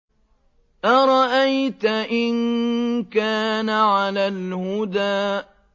أَرَأَيْتَ إِن كَانَ عَلَى الْهُدَىٰ